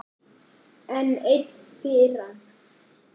Enn ein firran.